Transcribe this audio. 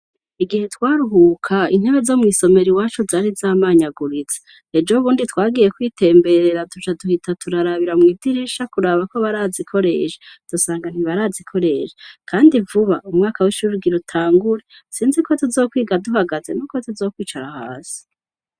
Igihe twaruhuka, intebe zo mw'isomero iwacu zari zamanyaguritse. Ejo bundi twagiye kwitemberera duca duhita turarabira mu madirisha kuraba ko barazikoresha. Duca dusanga ntibarazikoresha. Kandi vuba, umwaka w'ishure ugira utangure. Sinzi ko tuzokwiga duhagaze n'uko tuzokwicara hasi.